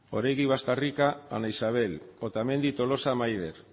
oregi bastarrika ana isabel otamendi tolosa maider